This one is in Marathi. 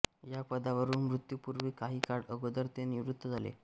या पदावरून मृत्यूपूर्वी काही काळ अगोदर ते निवृत्त झाले